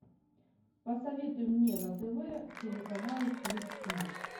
посоветуй мне на тв телеканал фликснип